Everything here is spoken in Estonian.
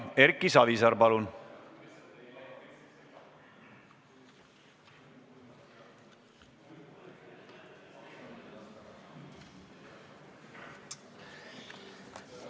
Erki Savisaar, palun!